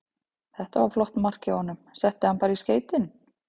Þetta var flott mark hjá honum, setti hann bara í skeytin.